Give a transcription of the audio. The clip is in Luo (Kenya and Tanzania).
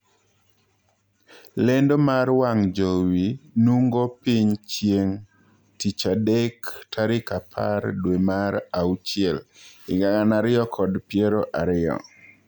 Lendo mar wang' jowi nungo piny chieng' tich adek tarik apar dwee mar auchiel higa gana ariyo kod piero aryo.